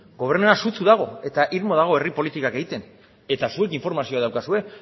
gobernua sutsu dago eta irmo dago herri politikak egiten eta zuek informazioa daukazue